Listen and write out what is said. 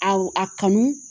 Aw a kanu